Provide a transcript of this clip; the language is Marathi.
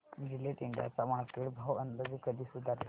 जिलेट इंडिया चा मार्केट भाव अंदाजे कधी सुधारेल